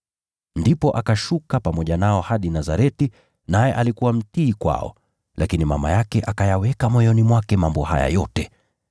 Ndipo akashuka pamoja nao hadi Nazareti, naye alikuwa mtiifu kwao. Lakini mama yake akayaweka moyoni mwake mambo haya yote.